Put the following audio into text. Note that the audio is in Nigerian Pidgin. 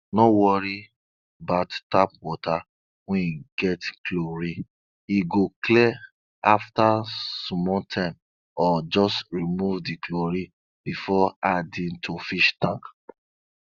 no worry bout tap water wey get chlorine e go clear after small time or just remove di chlorine before adding to fish tank